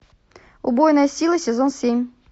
убойная сила сезон семь